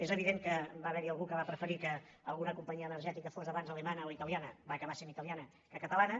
és evident que va haverhi algú que va preferir que alguna companyia energètica fos abans alemanya o italiana va acabar sent italiana que catalana